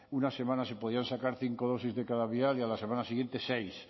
una semana se podían sacar cinco dosis de cada vial y a la semana siguiente seis